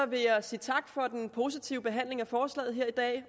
vil jeg sige tak for den positive behandling af forslaget her i dag